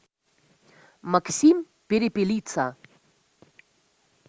максим перепелица